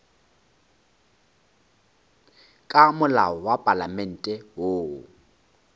ka molao wa palamente woo